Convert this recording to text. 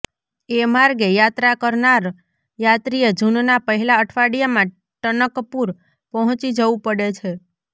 એ માર્ગે યાત્રા કરનાર યાત્રીએ જૂનના પહેલા અઠવાડિયામાં ટનકપુર પહોંચી જવું પડે છે